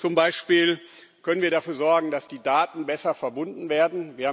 Zum Beispiel können wir dafür sorgen, dass die Daten besser verbunden werden.